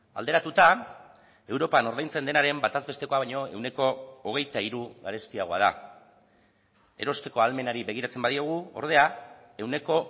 alderatuta europan ordaintzen denaren bataz bestekoa baino ehuneko hogeita hiru garestiagoa da erosteko ahalmenari begiratzen badiogu ordea ehuneko